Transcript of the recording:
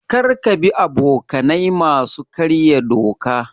Kar ka bi abokanai masu karya doka.